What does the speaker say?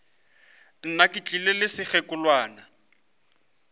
nna ke tlile le sekgekolwana